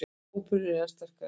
Hópurinn er enn sterkari núna